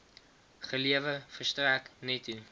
gelewer verstrek netto